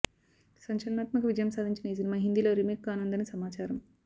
సంచలనాత్మక విజయం సాధించిన ఈ సినిమా హిందీలో రీమేక్ కానుందని సమాచారం